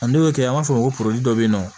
A n'o kɛ an b'a fɔ ko dɔ bɛ yen nɔ